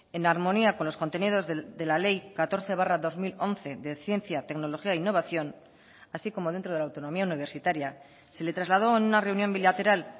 en armonía con los contenidos de la ley catorce barra dos mil once de ciencia tecnología e innovación así como dentro de la autonomía universitaria se le trasladó en una reunión bilateral